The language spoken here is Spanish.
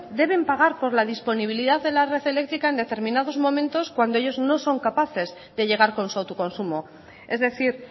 deben pagar por la disponibilidad de la red eléctrica en determinados momentos cuando ellos no son capaces de llegar con su autoconsumo es decir